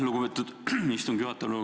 Lugupeetud istungi juhataja!